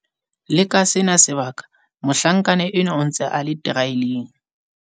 Le ka sena sebaka mohlankana enwa o ntse a le teraeleng.